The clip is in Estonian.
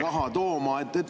… raha tooma?